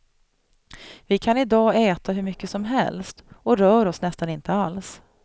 Vi kan idag äta hur mycket som helst och rör oss nästan inte alls.